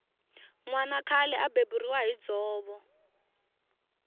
nwana khale a beburiwa hi dzovo